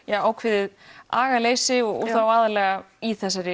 ákveðið agaleysi og þá aðallega í þessari